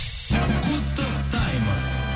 құттықтаймыз